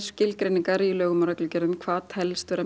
skilgreiningar í lögum og reglugerðum um hvað telst vera